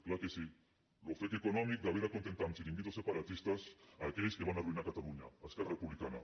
clar que sí l’ofec econòmic d’haver d’acontentar amb xiringuitos separatistes aquells que van arruïnar catalunya esquerra republicana